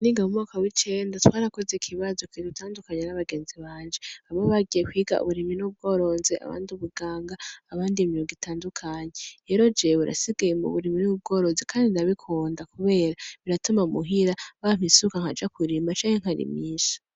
Niga mumwaka muwicenda twarakoze ikibazo kidutandukanya nabagenzi banje. Bamwe bagiye kwiga uburimyi n’ubworozi ,abandi ubuganga , abandi imyuga itandukanye. Rero jewe, nasigaye muburimyi n’ubworozi kandi ndabikunda , kubera , biratuma muhira bampa isuka nkaja kurima canke nkarimisha.